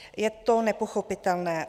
Je to nepochopitelné.